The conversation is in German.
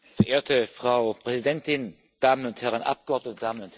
Frau Präsidentin, meine Damen und Herren Abgeordnete, meine Damen und Herren!